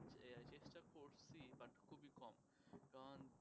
চেষ্টা করছি but খুবই কম